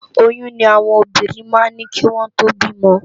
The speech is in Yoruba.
Óyùn ni áwòn óbírìn má n ni kiwòn tó bi òmò